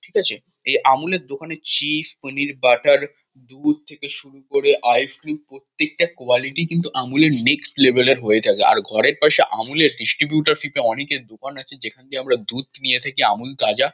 ঠিক আছে? এই আমুল -এর দোকানে চিজ পানির বাটার দুধ থেকে শুরু করে আইস-ক্রিম প্রত্যেকটা কুয়ালিটি কিন্তু আমূল -এর নেক্সট লেভেল -এর হয়ে থাকে। আর ঘরের পাশে আমূল -এর ডিস্ট্রিবিউটার থেকে অনেকের দোকান আছে যেখান দিয়ে আমরা দুধ নিয়ে থাকি আমূল তাজা।